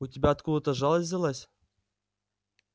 у тебя откуда то жалость взялась